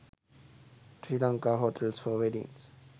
sri lanka hotels for weddings